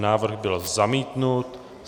Návrh byl zamítnut.